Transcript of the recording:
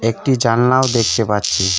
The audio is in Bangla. একটি জালনাও দেখতে পাচ্ছি।